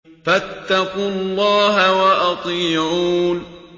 فَاتَّقُوا اللَّهَ وَأَطِيعُونِ